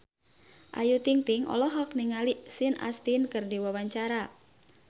Ayu Ting-ting olohok ningali Sean Astin keur diwawancara